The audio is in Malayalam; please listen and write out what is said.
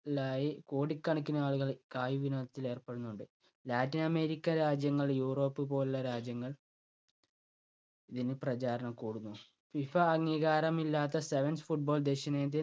ലായി കോടികണക്കിനാളുകൾ കായിക വിനോദത്തിൽ ഏർപ്പെടുന്നുണ്ട്. ലാറ്റിൻ അമേരിക്ക രാജ്യങ്ങൾ യൂറോപ്പ് പോലുള്ള രാജ്യങ്ങൾ ഇതിന് പ്രചാരണം കൂടുന്നു. ഫിഫ അംഗീകാരമില്ലാത്ത sevens football ദക്ഷിണേന്ത്യൻ